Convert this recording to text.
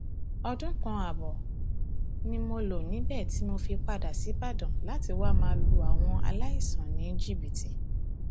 ọdún kan ààbọ ni mo lò níbẹ tí mo fi padà ṣíbàdàn láti wáá ma lu àwọn aláìsàn ní jìbìtì